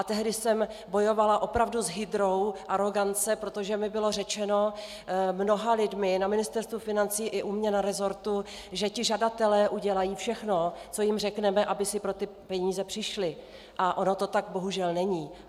A tehdy jsem bojovala opravdu s hydrou arogance, protože mi bylo řečeno mnoha lidmi na Ministerstvu financí i u mě na resortu, že ti žadatelé udělají všechno, co jim řekneme, aby si pro ty peníze přišli, a ono to tak bohužel není.